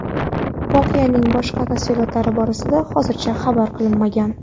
Voqeaning boshqa tafsilotlari borasida hozircha xabar qilinmagan.